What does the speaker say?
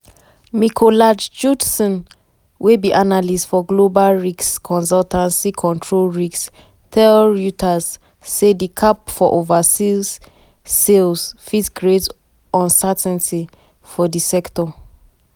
mikolaj judson wey be analyst for global risk consultancy control risks tell reuters say di cap for overseas sales fit create uncertainty for di sector.